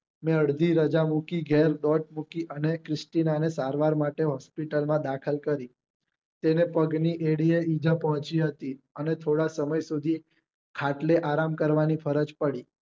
મેં અડધી રજા મૂકી ઘરે bag મૂકી અને ક્રિટિનાને સારવાર માટે hospital માં દાખલ કરી તેને પગ ની એડી આ ઈજા પોહચી હતી અને થોડા સમય સુધી ખાટલે આરામ કરવાની ફરજ પડી